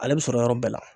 Ale bɛ sɔrɔ yɔrɔ bɛɛ la